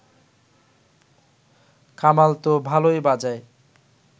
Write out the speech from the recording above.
কামাল ত ভালই বাজায়